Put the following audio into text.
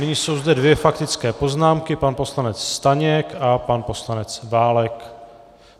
Nyní jsou zde dvě faktické poznámky, pan poslanec Staněk a pan poslanec Válek.